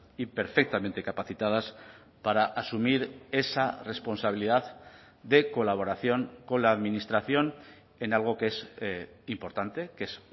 y perfectamente capacitadas para asumir esa responsabilidad de colaboración con la administración en algo que es importante que es